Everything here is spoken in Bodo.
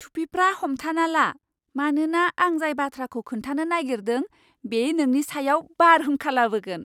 टुपिफ्रा हमथाना ला, मानोना आं जाय बाथ्राखौ खोन्थानो नागिरदों, बे नोंनि सायाव बारहुंखा लाबोगोन!